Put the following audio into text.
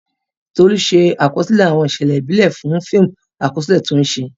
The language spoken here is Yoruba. Tolu ṣe àkọsílẹ̀ àwọn ìṣẹ̀lẹ̀ ìbílẹ̀ fún fíìmù àkọsílẹ̀ tí ó ń ṣe.